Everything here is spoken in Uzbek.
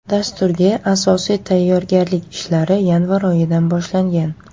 Dasturga asosiy tayyorgarlik ishlari yanvar oyidan boshlangan.